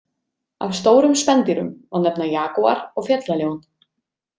Af stórum spendýrum má nefna jagúar og fjallaljón.